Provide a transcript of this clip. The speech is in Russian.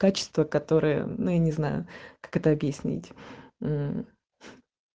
качество которое ну я не знаю как это объяснить мм